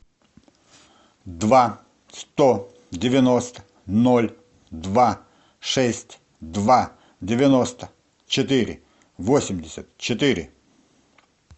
два сто девяносто ноль два шесть два девяносто четыре восемьдесят четыре